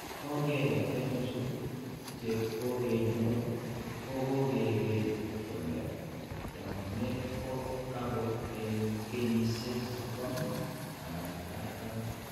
Kong'eten chu che kokeny'or, ko ke kere kole taakunet ko taku eng' kenyisiek 30 anan 40.